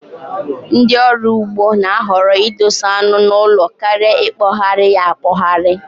Ndị ọrụ ugbo na-ahọrọ idosa anu n'ụlọ karịa ikpohari ya akpohari